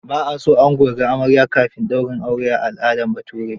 Ba a so ango ya ga amarya kafin daurin aure a al'adar Bature.